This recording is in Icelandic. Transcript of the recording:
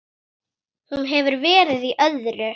Hún hefur verið í öðru.